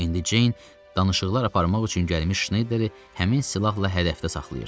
İndi Ceyn danışıqlar aparmaq üçün gəlmiş Şneyderi həmin silahla hədəfdə saxlayırdı.